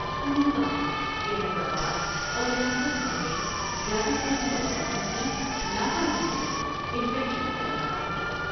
انہوں نے کہا کہ حیدرآ با داور ریاست بھر میں زیادہ تر نوجوانوں کی لا پرواہی سے انفیکشن پھیل رہا ہے ۔